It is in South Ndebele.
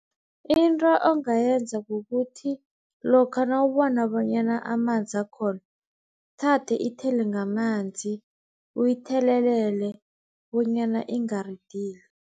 Into ongayenza kukuthi lokha nawubona bonyana amanzi akhona, ithathe ithele ngamanzi, uyithelelele bonyana ingaridili.